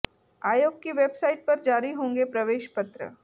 आयोग की वेबसाइट पर जारी होंगे प्रवेश पत्र